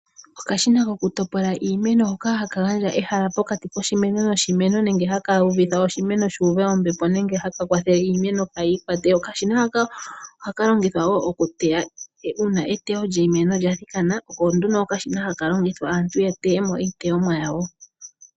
Okashina kokutopola iimeno hoka haga gandja egala pokati koshimeno noshimeno nenge ha ka ningi oshimeno shi uve ombepo nenge ha ka kwathele iimeno kaayi ikwate. Okashina haka ohaka longithwa wo okuteya ngele eteyo lya thikana, oko ha ka longithwa opo aantu ya teye mo iiteyomwa yawo.